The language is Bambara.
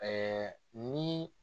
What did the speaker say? ni